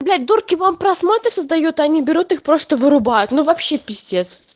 дурки вам просмотр создают они берут их просто вырубает но вообще пиздец